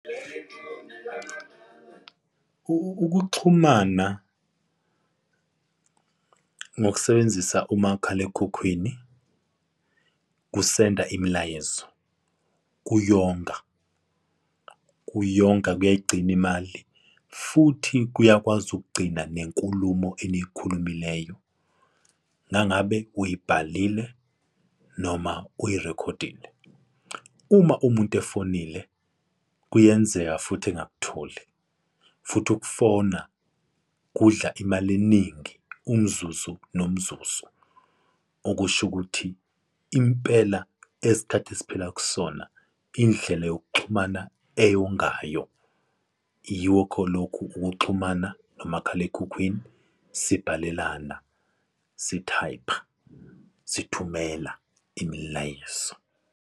Ukuxhumana ngokusebenzisa umakhalekhukhwini kusenda imilayezo, kuyonga, kuyonga kuyayigcina imali. Futhi kuyakwazi ukugcina nenkulumo eniyikhulumileyo uma ngabe uyibhalile noma uyirekhodile. Uma umuntu efonile kuyenzeka futhi engakutholi, futhi ukufona kudla imali eningi umzuzu nomzuzu. Okusho ukuthi, impela esikhathi esiphila kusona indlela yokuxhumana eyongayo, yikho lokhu ukuxhumana nomakhalekhukhwini sibhalelana, sithayipha, sithumela imilayezo.